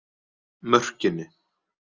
Mörkinni